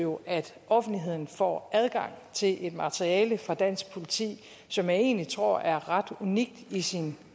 jo at offentligheden får adgang til et materiale fra dansk politi som jeg egentlig tror er ret unikt i sin